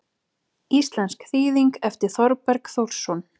Íslensk þýðing eftir Þorberg Þórsson.